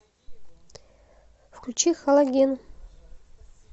включи халоген